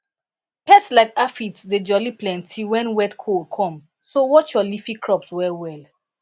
pests like aphids dey jolly plenty when wetcold come so watch your leafy crops wellwell